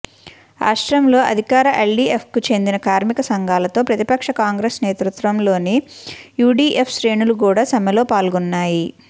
రాష్ట్రంలో అధికార ఎల్డీఎఫ్కు చెందిన కార్మిక సంఘాలతో ప్రతిపక్ష కాంగ్రెస్ నేతృత్వంలోని యూడీఎఫ్ శ్రేణులు కూడా సమ్మెలో పాల్గొన్నాయి